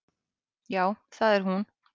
Já, það er hún.